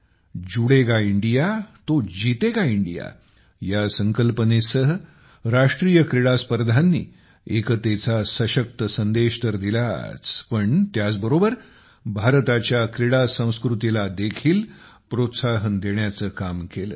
जुडेगा India तो जितेगा India या संकल्पनेसह राष्ट्रीय क्रीडास्पर्धांनी एकतेचा सशक्त संदेश तर दिलाच पण त्याचबरोबर भारताच्या क्रीडा संस्कृतीला देखील प्रोत्साहन देण्याचे काम केले